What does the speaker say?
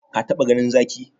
Ka taba ganin Zaki?